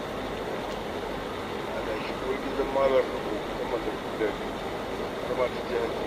Da adashi uwar gidan Malam Rabo ta mallaki gidaje har ma ta je hajji.